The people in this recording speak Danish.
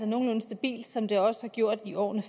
nogenlunde stabilt som det også har gjort i årene